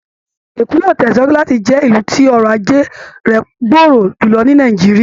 Èkó yóò tẹ̀síwájú láti jẹ́ ilù tí ọrọ̀ ajé rẹ̀ gbòòrò jùlọ ni Nàìjíríà